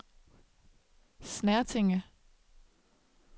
Snertinge